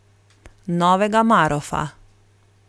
Novega Marofa.